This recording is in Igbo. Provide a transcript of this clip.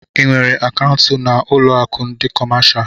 Ị nwèrè akaụntu na ụlọ akụ ndị kọmáshá?